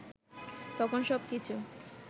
তখন সবকিছু